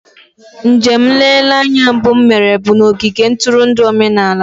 Njem nlereanya mbụ m mere bụ na ogige ntụrụndụ omenala.